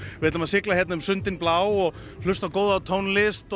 við ætlum að sigla hérna um sundin blá og hlusta á góða tónlist og